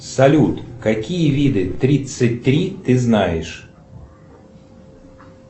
салют какие виды тридцать три ты знаешь